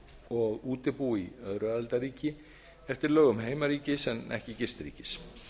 og útibú í öðru aðildarríki eftir lögum heimaríkis en ekki gistiríkis